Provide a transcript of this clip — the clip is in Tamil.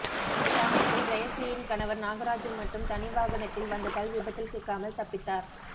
இந்த சமயத்தில் ஜெயஸ்ரீயின் கணவர் நாகராஜூ மட்டும் தனி வாகனத்தில் வந்ததால் விபத்தில் சிக்காமல் தப்பித்தார்